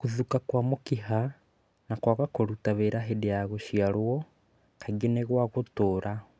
Gũthũka kwa mũkiha na kwaga kũruta wĩra hĩndĩ ya gũciarwo kaingĩ nĩ gwa gũtũra.